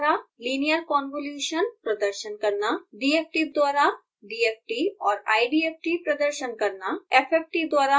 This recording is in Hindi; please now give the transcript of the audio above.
convol द्वारा linear convolutio प्रदर्शन करना dft द्वारा dft और idft प्रदर्शन करना